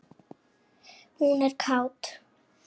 Hún er kát.